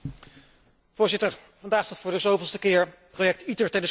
Voorzitter, vandaag staat voor de zoveelste keer het project ITER ter discussie.